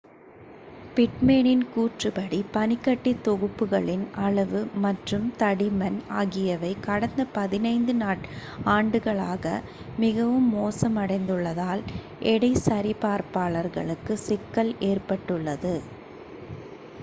பிட்மேனின் கூற்றுப்படி பனிக்கட்டி தொகுப்புகளின் அளவு மற்றும் தடிமன் ஆகியவை கடந்த 15 ஆண்டுகளில் மிகவும் மோசமடைந்துள்ளதால் எடை சரி பார்ப்பாளர்களுக்கு சிக்கல் ஏற்பட்டுள்ளது